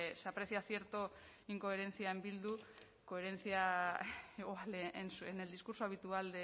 se aprecia cierta incoherencia en bildu coherencia igual en el discurso habitual